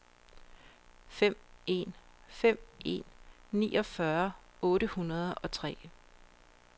fem en fem en niogfyrre otte hundrede og tre